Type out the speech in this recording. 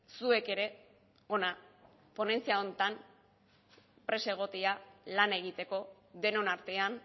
zuek ere hona ponentzia honetan prest egotea lan egiteko denon artean